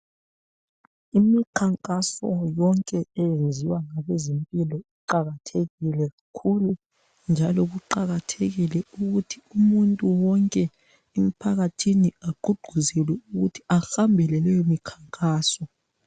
imikhankaso yonke eyenziwa ngabezempilo iqakathekile kakhulu njalo kuqakathekile ukuthi umuntu wonke emphakathini agqugquzelwe ukuthi ahambele leyo mikhankaso